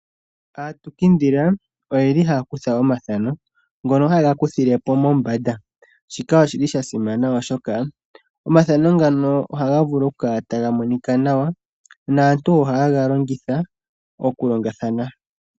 Aatukindhila oyeli haya kutha omathano ngoka haye gakuthile ko mombanda, shika oshili shasimana oshoka omathano ngaka ohaga vulu okukala taga monika nawa naantu ohaya vulu okuga longitha oku longathana.